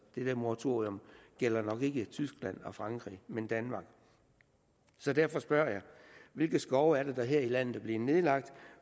det der moratorium gælder nok ikke tyskland og frankrig men danmark så derfor spørger jeg hvilke skove er det der her i landet er blevet nedlagt